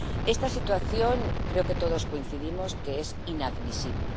Esta situación, creo que todos coincidimos en que es inadmisible.